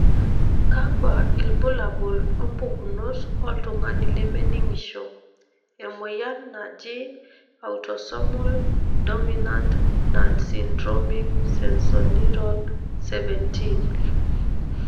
kakwa ilbulabul opukunoto oltungani leminingisho, emoyian naaji autosomal dominant nonsyndromic sensorineural 17?